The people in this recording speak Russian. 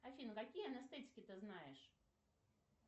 афина какие анестетики ты знаешь